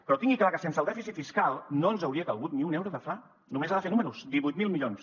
però tingui clar que sense el dèficit fiscal no ens hauria calgut ni un euro de fla només ha de fer números divuit mil milions